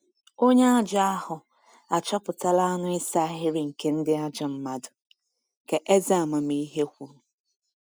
“Onye ajọ ahụ achọpụtala anụ ịsa ahịrị nke ndị ajọ mmadụ,” ka eze amamihe kwuru.